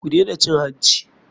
Ku dena cin hanci.